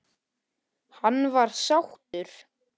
Hann var sáttur.